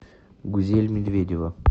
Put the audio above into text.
гузель медведева